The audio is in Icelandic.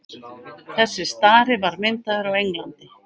þessi stari var myndaður á englandi